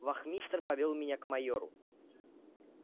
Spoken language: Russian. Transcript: вахмистр повёл меня к майору